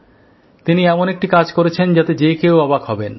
তিনি এমন একটি কাজ করেছেন যাতে যে কেউ অবাক হবেন